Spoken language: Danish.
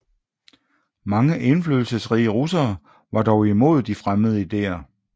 Mange indflydelsesrige russere var dog imod de fremmede idéer